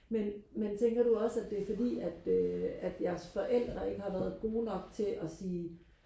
men men tænker du også at det er fordi at øh at jeres forældre ikke har været gode nok til og sige